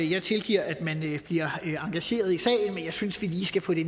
jeg tilgiver at man bliver engageret i sagen men jeg synes vi lige skal få det